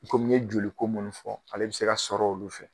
Komi n ye joli ko munnu fɔ ale bi se ka sɔrɔ olu fɛ.